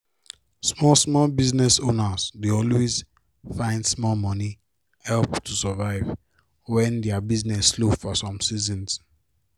small small business owners dey always find small money help to survive when their business slow for some seasons